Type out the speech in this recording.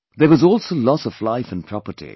There was also loss of life and property